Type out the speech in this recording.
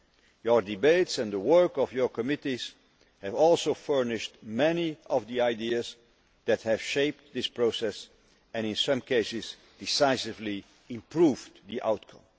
Your debates and the work of your committees have also furnished many of the ideas that have shaped this process and, in some cases, decisively improved the outcome.